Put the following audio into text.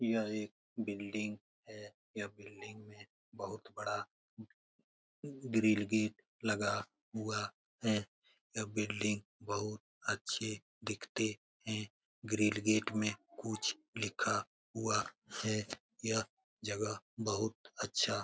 यह एक बिल्डिंग है यह बिल्डिंग बहुत बड़ा ग्रिल गेट लगा हुआ है यह बिल्डिंग बहुत अच्छे दिखते है ग्रिल गेट में कुछ लिखा हुआ है यह जगह बहुत अच्छा --